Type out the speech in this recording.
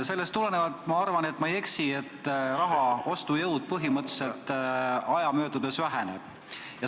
Sellest tulenevalt arvan ma, et ma ei eksi selles, et raha ostujõud aja möödudes põhimõtteliselt väheneb.